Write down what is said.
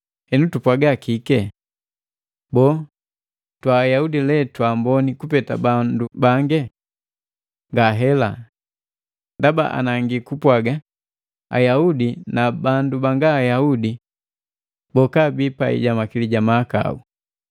Henu tupwaga kike? Boo, twa Ayaudi lee twaamboni kupeta bandu bange? Ngahela! Ndaba anangi kupwaga Ayaudi na bandu banga Ayaudi boka abii pai ja makili ja na mahakau.